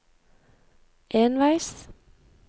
enveis